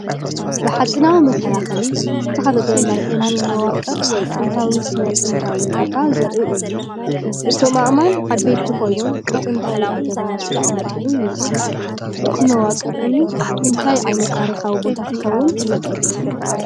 ብሓጺናዊ መከላኸሊ ዝተኸበበ ናይ እምኒ መዋቕር ወይ ጥንታዊ ስነ-ጥንታዊ ቦታ ዘርኢ እዩ። እቶም ኣእማን ዓበይቲ ኮይኖም ብጥንታዊ ኣገባብ ዝተቐመጡ ይመስሉ። እቲ መዋቕር እምኒ እንታይ ዓይነት ታሪኻዊ ቦታ ክኸውን ይኽእል?